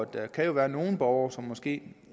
der kan jo være nogle borgere som måske